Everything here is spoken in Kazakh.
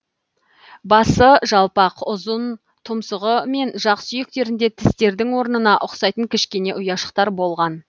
басы жалпақ ұзын тұмсығы мен жақ сүйектерінде тістердің орнына ұқсайтын кішкене ұяшықтар болған